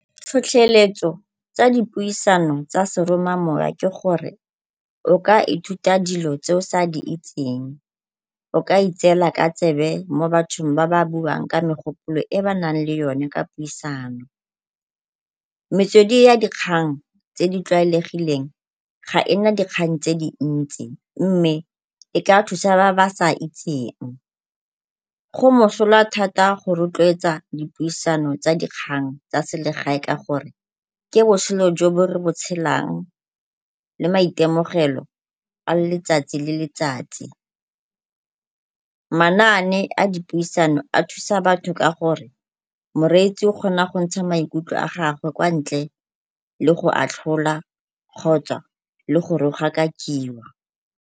Tlhotlheletso tsa dipuisano tsa seromamowa ke gore o ka ithuta dilo tse o sa di itseng, o ka itseela ka tsebe mo bathong ba ba buang ka megopolo e ba nang le yone ka puisano. Metswedi ya dikgang tse di tlwaelegileng ga e na dikgang tse dintsi mme e ka thusa ba ba sa itseng. Go mosola thata go rotloetsa dipusisano tsa dikgang tsa selegae ka gore ke botshelo jo re bo tshelang le maitemogelo a letsatsi le letsatsi. Manaane a dipuisano a thusa batho ka gore moreetsi o kgona go ntsha maikutlo a gagwe kwa ntle le go atlholwa kgotsa le go rogakakiwa.